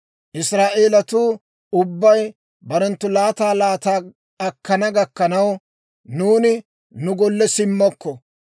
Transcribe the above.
Israa'eelatuu ubbay barenttu laataa laataa akkana gakkanaw, nuuni nu golle simmokko.